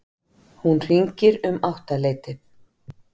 Hún hringir um áttaleytið.